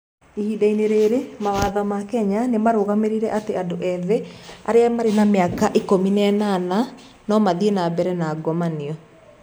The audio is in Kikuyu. Ihinda-inĩ rĩrĩ, mawatho ma Kenya nĩ marũgamĩrĩire atĩ andũ ethĩ arĩa marĩ na mĩaka 18 no mathiĩ na mbere na ngomanio.